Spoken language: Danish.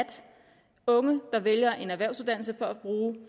unge der vælger en erhvervsudannelse for at bruge